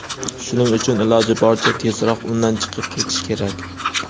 shuning uchun iloji boricha tezroq undan chiqib ketish kerak.